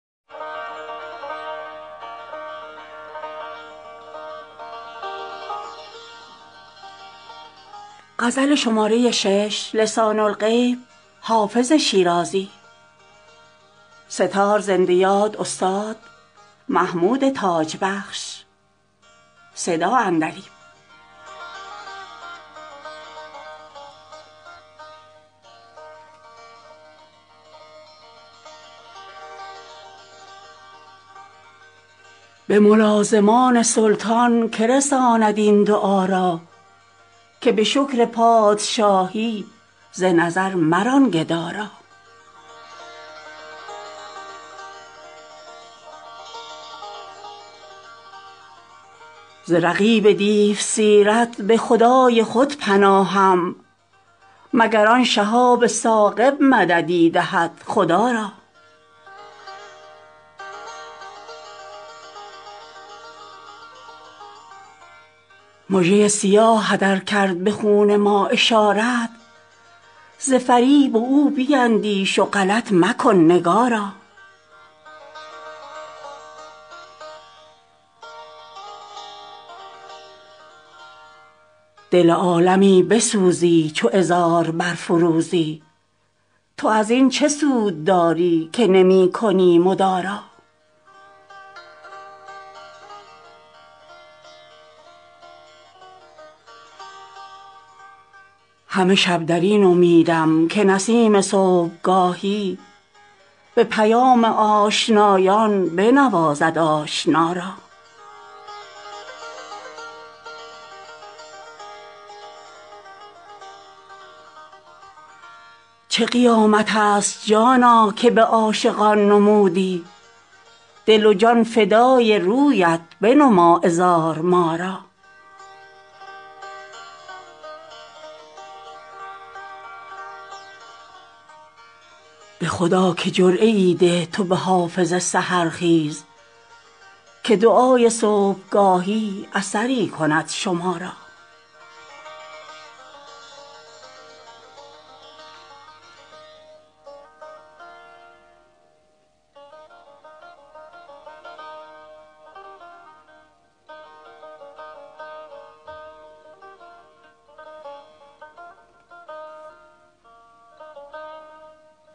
به ملازمان سلطان که رساند این دعا را که به شکر پادشاهی ز نظر مران گدا را ز رقیب دیوسیرت به خدای خود پناهم مگر آن شهاب ثاقب مددی دهد خدا را مژه ی سیاهت ار کرد به خون ما اشارت ز فریب او بیندیش و غلط مکن نگارا دل عالمی بسوزی چو عذار برفروزی تو از این چه سود داری که نمی کنی مدارا همه شب در این امیدم که نسیم صبحگاهی به پیام آشنایان بنوازد آشنا را چه قیامت است جانا که به عاشقان نمودی دل و جان فدای رویت بنما عذار ما را به خدا که جرعه ای ده تو به حافظ سحرخیز که دعای صبحگاهی اثری کند شما را